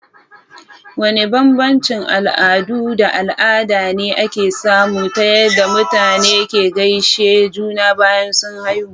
Wane bambancin al'adu da al'ada ne ake samu ta yadda mutane ke gaishe juna bayan sun haihu?